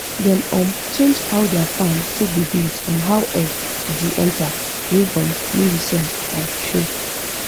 dem um change how their farm take dey based on how air the enter wey um new research um show